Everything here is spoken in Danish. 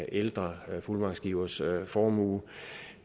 ældre fuldmagtsgivers formue